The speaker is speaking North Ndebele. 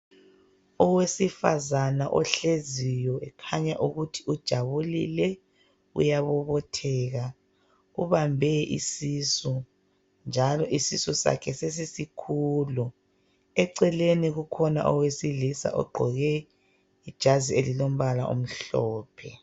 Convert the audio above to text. Owesifazana ohleziyo ekhanya ukuthi ujabulile uyabobotheka, ubambe isisu njalo isisu sakhe sesikhulu. Eceleni kukhona owesilisa ogqoke ijazi elilombala omhlophe